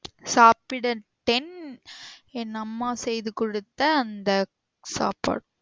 சாப்பிடுட்டேன் என் அம்மா செய்து கொடுத்த அந்த சாப்பாடு